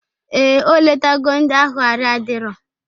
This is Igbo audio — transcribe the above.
Ee, o letago ndi ahụ arụ adiro